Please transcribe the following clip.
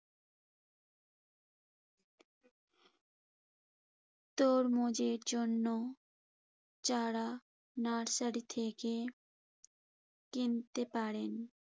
তরমুজের জন্য চারা নার্সারি থেকে কিনতে পারেন।